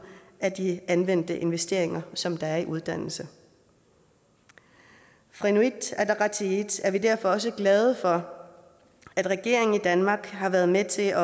af de anvendte investeringer som der er i uddannelse fra inuit ataqatigiits side er vi derfor også glade for at regeringen i danmark har været med til at